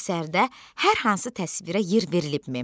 Əsərdə hər hansı təsvirə yer verilibmi?